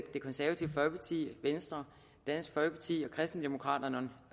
det konservative folkeparti venstre dansk folkeparti og kristendemokraterne